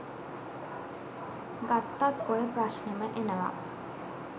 ගත්තත් ඔය ප්‍රශ්නෙම එනව.